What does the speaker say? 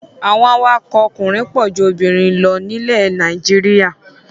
Àwọn awakọ̀ ọkùnrin pọ̀ ju obìnrin lọ nílẹ̀ Nàìjíríà.